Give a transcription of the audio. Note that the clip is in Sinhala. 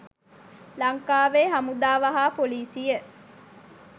ලංකාවේ හමුදාව හා පොලිසිය